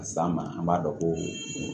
Ka s'an ma an b'a dɔn ko